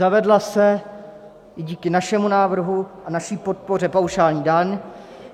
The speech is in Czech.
Zavedla se i díky našemu návrhu a naší podpoře paušální daň.